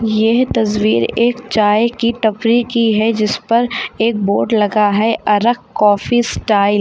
यह तस्वीर एक चाय की टपरी की है जिस पर एक बोर्ड लगा है अरक कॉफी स्टाइल --